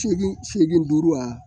Seegin seegin duuru wa